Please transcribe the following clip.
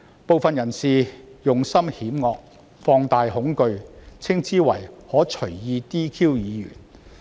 部分人士用心險惡，放大恐懼，稱之為可隨意 "DQ" 議員。